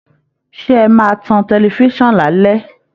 Ṣé ẹ máa tan tẹlifiṣan lálẹ̀?